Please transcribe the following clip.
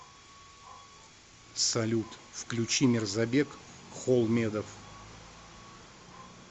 салют включи мирзабек холмедов